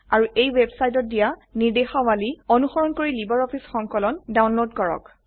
আৰু এই ওয়েবসাইটত দিয়া নিৰ্দেশাবলী অনুসৰণ কৰি লাইব্ৰঅফিছ সংকলন ডাউনলোড কৰক